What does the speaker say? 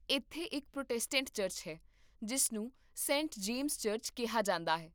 ਇੱਥੇ ਇੱਕ Protestant church ਹੈ ਜਿਸ ਨੂੰ ਸੇਂਟ ਜੇਮਸ ਚਰਚ ਕਿਹਾ ਜਾਂਦਾ ਹੈ